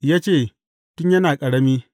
Ya ce, Tun yana ƙarami.